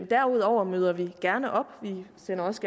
derudover møder vi gerne op og vi sender også